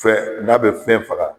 Fɛn n'a be fɛn faga